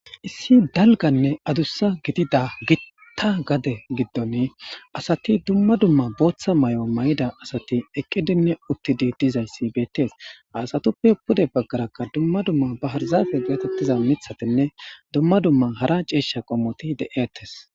issi dalganne adussa gidida gitta gade giddon asati dumma dumma booththa may7o may7ida asati eqqidinne uttidi dizayssi beettees aasatuppe pude baggarakka dumma dumma baharzafe giratettiza mithatinne dumma dumma hara ciisha qommoti de7iattes